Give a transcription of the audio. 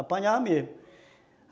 Apanhar mesmo.